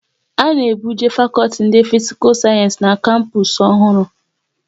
A na ebuje fakọlti ndị Fisikal Sayensi n'kapus ọhụrụ